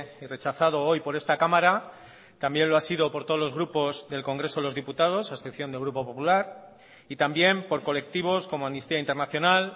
y rechazado hoy por esta cámara también lo ha sido por todos los grupos del congreso de los diputados a excepción del grupo popular y también por colectivos como amnistía internacional